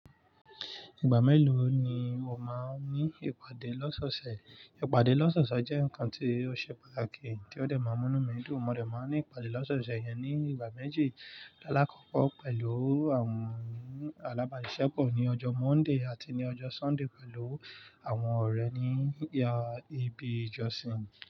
Ìgbà mélòó ni o máa ń ní ìpàdé lọ́sọ́ṣẹ̀? Ìpàdé lọ́sọ́ṣẹ̀ jẹ́ nǹkan tí ó ṣe pàtàkì tí ó dẹ̀ máa mú mí mí dùn. Mo dẹ̀ máa ń ní ìpàdé lọ́sọ́ṣẹ̀ yẹn ní ìgbà méjì. Alakọkọ pẹ̀lú àwọn alábàáṣiṣẹpọ̀ ní ọjọ́ Monday àti ní ọjọ́ Sunday pẹ̀lú àwọn ọ̀rẹ́ ní ibi ìjọsìn.